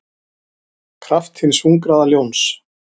kraft hins hungraða ljóns.